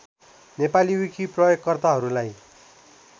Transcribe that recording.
Nepali wiki प्रयोगकर्ताहरुलाई